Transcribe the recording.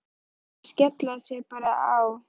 Var ekki best að skella sér bara á Hæ?